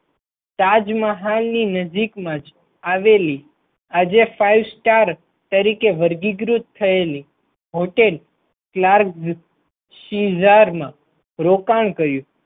તાજમહાલ ની નજીકમાં જ આવેલી આજે Five Star તરીકે વર્ગીકૃત થયેલી હોટેલ ક્લાર્ક સીજાર મા રોકાણ કર્યું.